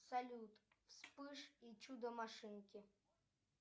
салют вспыш и чудо машинки